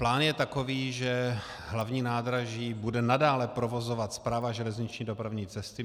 Plán je takový, že hlavní nádraží bude nadále provozovat Správa železniční dopravní cesty.